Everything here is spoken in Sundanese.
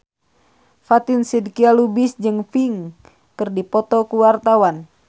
Fatin Shidqia Lubis jeung Pink keur dipoto ku wartawan